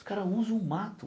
Os caras usam o mato.